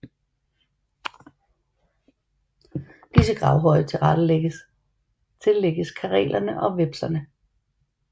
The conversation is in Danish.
Disse gravhøje tillægges karelerne og vepserne